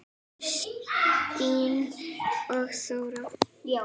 Kristín og Þóra.